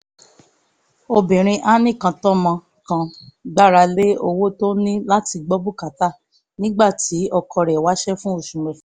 obìnrin anìkàntọ́mọ kan gbára lé owó tó ní láti gbọ́ bùkátà nígbà nígbà tí ọkọ rẹ̀ ń wáṣẹ́ fún oṣù mẹ́fà